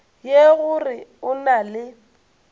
ye gore o na le